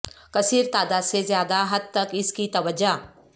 کثیر تعداد سے زیادہ حد تک اس کی توجہ